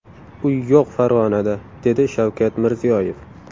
Uy yo‘q Farg‘onada” – dedi Shavkat Mirziyoyev.